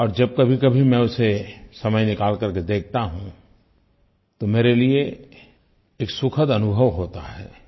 और जब कभीकभी मैं उसे समय निकाल करके देखता हूँ तो मेरे लिये एक सुखद अनुभव होता है